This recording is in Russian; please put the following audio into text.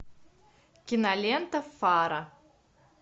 кинолента фара